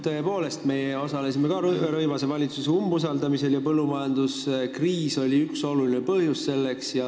Tõepoolest, me osalesime ka Rõivase valitsuse umbusaldamisel ja põllumajanduskriis oli üks olulisi põhjusi selleks.